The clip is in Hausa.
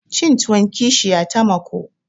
Cin tuwon kishiya tamako